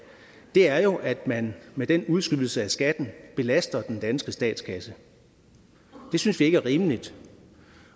er jo at man med den udskydelse af skatten belaster den danske statskasse det synes vi ikke er rimeligt